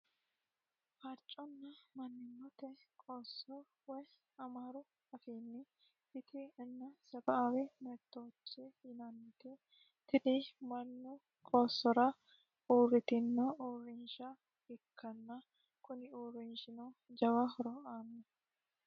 Farconna mannimate qooso woy amaaru afiini fitih inna sebe"aawe mebitoochi yinanniti tini mannu qoosora uuritinno uurinisha ikkana kuni uurinishino jawa horo aanno